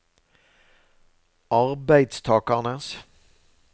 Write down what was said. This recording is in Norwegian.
arbeidstakernes